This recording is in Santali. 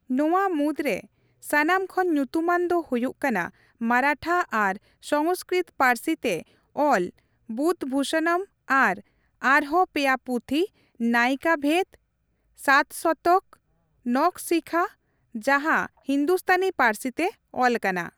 ᱱᱚᱣᱟ ᱢᱩᱫᱽᱨᱮ ᱥᱟᱱᱟᱢ ᱠᱷᱚᱱ ᱧᱩᱛᱩᱢᱟᱱ ᱫᱚ ᱦᱩᱭᱩᱜ ᱠᱟᱱᱟ ᱢᱟᱨᱟᱴᱷᱟ ᱟᱨ ᱥᱚᱝᱥᱠᱨᱤᱛ ᱯᱟᱹᱨᱥᱤ ᱛᱮ ᱚᱞ ᱵᱩᱫᱷᱵᱷᱩᱥᱚᱱᱚᱢ ᱟᱨ ᱟᱨᱦᱚᱸ ᱯᱮᱭᱟ ᱯᱩᱛᱷᱤ, ᱱᱟᱭᱤᱠᱟᱵᱷᱮᱫᱽ, ᱥᱟᱛᱥᱚᱛᱚᱠ, ᱱᱚᱠᱷᱥᱤᱠᱷᱟ ᱡᱟᱸᱦᱟ ᱦᱤᱱᱫᱩᱥᱛᱟᱱᱤ ᱯᱟᱹᱨᱥᱤ ᱛᱮ ᱚᱞᱟᱠᱟᱱᱟ ᱾